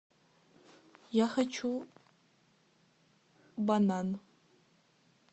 я хочу банан